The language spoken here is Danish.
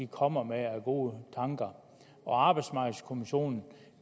kommer med af gode tanker og arbejdsmarkedskommissionen